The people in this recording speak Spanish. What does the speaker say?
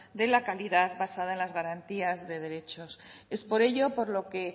de la calidad basada en las garantías de derechos es por ello por lo que